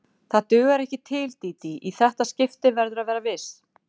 Það dugar ekki til, Dídí, í þetta skipti verðurðu að vera viss.